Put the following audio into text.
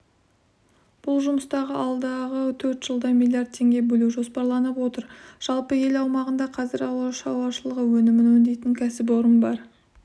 бұл жұмыстарға алдағы төрт жылда миллиард теңге бөлу жоспарланып отыр жалпы ел аумағында қазір ауылшаруашылығы өнімін өңдейтін кәсіпорын бар